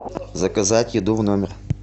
заказать еду в номер